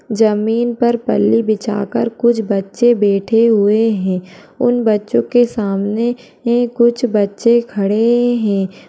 जमीन पर पल्ली बिछाकर कुछ बच्चे बैठे हुए हैं उन बच्चों के सामने ही कुछ बच्चे खड़े हैं।